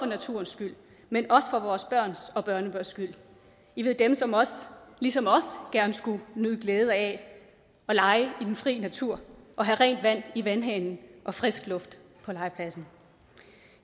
naturens skyld men også for vores børns og børnebørns skyld dem som ligesom os gerne skulle nyde glæde af at lege i den fri natur og have rent vand i vandhanen og frisk luft på legepladsen